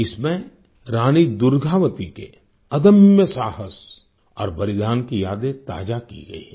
इसमें रानी दुर्गावती के अदम्य साहस और बलिदान की यादें ताजा की गई हैं